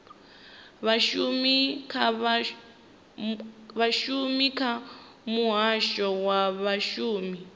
vhashumi kha muhasho wa vhashumi